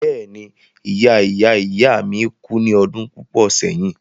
Bẹ́ẹ̀ni ìya ìya ìya mi kú ní ọdún púpọ̀ sẹ́yìn.